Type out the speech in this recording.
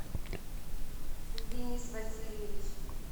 денис васильевич